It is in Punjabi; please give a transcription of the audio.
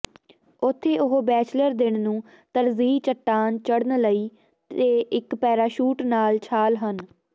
ਉੱਥੇ ਉਹ ਬੈਚਲਰ ਦਿਨ ਨੂੰ ਤਰਜੀਹ ਚੱਟਾਨ ਚੜ੍ਹਨ ਲਈ ਅਤੇ ਇੱਕ ਪੈਰਾਸ਼ੂਟ ਨਾਲ ਛਾਲ ਹਨ